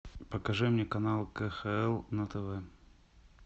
покажи мне канал кхл на тв